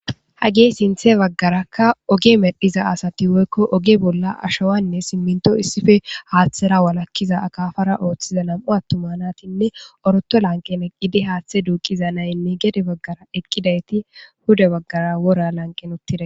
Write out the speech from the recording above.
Hagee sinthe baggarakka oge medhiza asati woykko oge bolla ashowanne simminto issife haaththera walakkiza akafara ooththiza nam'u attumanatinne oroto lanqeneqidi haaththe duuqiza naynne gede baggara eqqidayti huda baggara wora lanqen uttide.